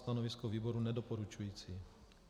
Stanovisko výboru nedoporučující.